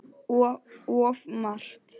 Of margt.